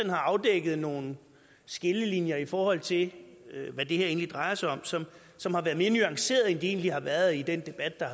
har afdækket nogle skillelinjer i forhold til hvad det her egentlig drejer sig om som som har været mere nuancerede end de egentlig har været i den debat der